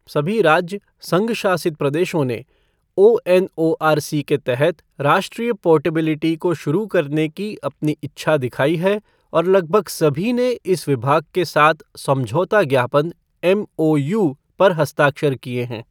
सभी राज्य, संघ शासित प्रदेशों ने ओएनओआरसी के तहत राष्ट्रीय पोर्टेबिलिटी को शुरू करने की अपनी इच्छा दिखाई है और लगभग सभी ने इस विभाग के साथ समझौता ज्ञापन एमओयू पर हस्ताक्षर किए हैं।